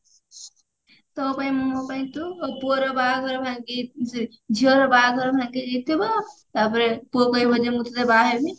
ତୋ ପାଇଁ ମୁ ମୋ ପାଇଁ ତୁ ପୁଅର ବାହାଘର ଭାଙ୍ଗି ଝିଅର ବାହାଘର ଭାଙ୍ଗିଯାଇଥିବ ତାପରେ ପୁଅ କହିବ ଯେ ମୁଁ ତୋତେ ବାହାହେମି